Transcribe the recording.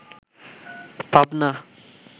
Pabna